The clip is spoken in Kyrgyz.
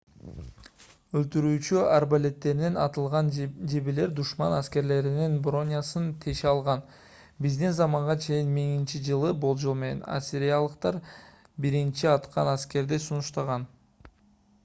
өлтүрүүчү арбалеттеринен атылган жебелер душман аскерлеринин бронясын теше алган. биздин заманга чейин 1000—жылы болжол менен ассириялыктар биринчи атчан аскерди сунушташкан